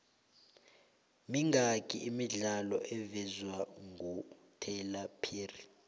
mingaki imidlalo evezwengutyler perry